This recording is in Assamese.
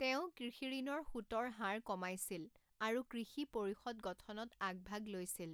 তেওঁ কৃষিঋণৰ সূতৰ হাৰ কমাইছিল আৰু কৃষি পৰিষদ গঠনত আগভাগ লৈছিল।